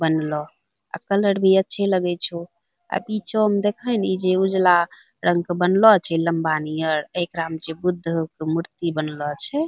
बनलो अ कलर भी अच्छे लगय छो | अ पिछो में देखही नि जे एगो उजला रंग के बनलो छे लम्बा नियर एकरा में बुद्ध के मूर्ति बनलो अछे |